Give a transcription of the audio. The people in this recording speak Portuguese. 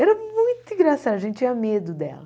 Era muito engraçado, a gente tinha medo dela.